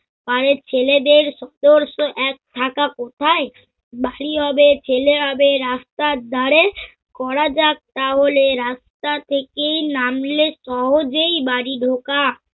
গাঁয়ের ছেলেদের আদর্শ এক ঢাকা কোথায়? বাড়ি হবে ছেলে হবে রাস্তার ধাঁরে, করা যাক তাহলে রাস্তা থেকে নামলে সহজেই বাড়ি ঢোকা